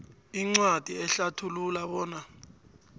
incwadi ehlathulula bona